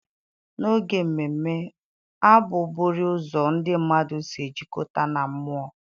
N'oge mmemme, abụ bụriii ụzọ ndị mmadụ si ejikọta na mmụọ.